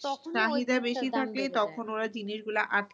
তখনই তখন ওরা জিনিস গুলো আটকে~